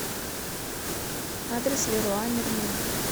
адрес леруа мерлен